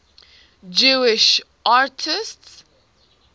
jewish atheists